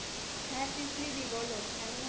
কেমন আছিস?